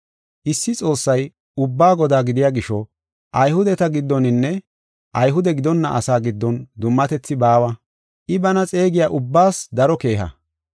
Issi Xoossay ubbaa Godaa gidiya gisho, Ayhudeta giddoninne Ayhude gidonna asaa giddon dummatethi baawa. I bana xeegiya ubbaas daro keeha.